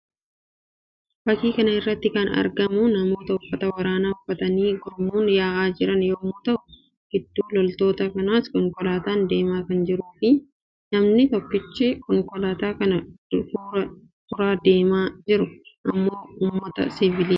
Fakkii kana irratti kan argamu namoota uffata waraaana uffatanii gurmuun ya'aa jiran yammuu ta'uu; gidduu loltoota kanaas konkolaataan deemaa kan jirtuu fi namni tokkichi konkolaataa kana fura deemaa jiru immoo uummata siivilii dha.